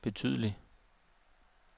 betydelig